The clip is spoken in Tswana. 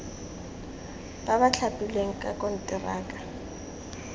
ba ba thapilweng ka konteraka